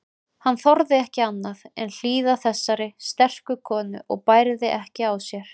Hann þorði ekki annað en hlýða þessari sterku konu og bærði ekki á sér.